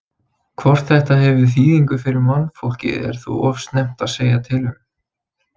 Hvort þetta hefur þýðingu fyrir mannfólkið er þó of snemmt að segja til um.